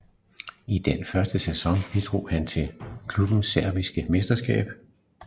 I den første sæson bidrog han til klubbens sebiske mesterskab